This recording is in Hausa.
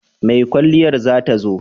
Mai kwalliyar za ta zo?